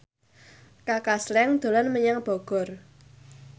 Kaka Slank dolan menyang Bogor